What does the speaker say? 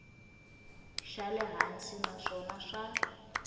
xa le hansi naswona swa